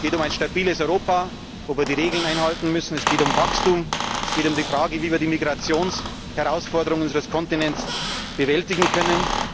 Es geht um ein stabiles Europa, wo wir die Regeln einhalten müssen, es geht um Wachstum, es geht um die Frage, wie wir die Migrationsherausforderungen unseres Kontinents bewältigen können.